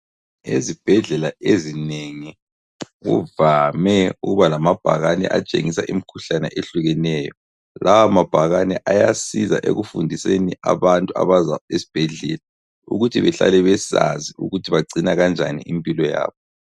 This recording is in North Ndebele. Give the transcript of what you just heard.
Ezibhedlela ezinengi kuvame ukuba lamabhakane atshengisa imikhuhlane ehlukeneyo. Lawa mabhakane ayasiza ekufundiseni abantu abaza esibhedlela ukuthi behlale besazi ukuthi bagcina kanjani impilo yabo.